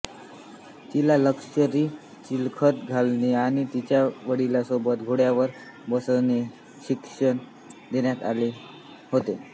तिला लष्करी चिलखत घालणे आणि तिच्या वडिलांसोबत घोड्यावर बसण्याचे शिक्षण देण्यात आले होते